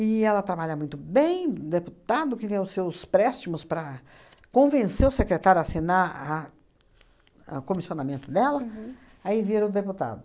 ela trabalha muito bem, deputado que tem os seus préstimos para convencer o secretário a assinar a a comissionamento dela, aí vira o deputado.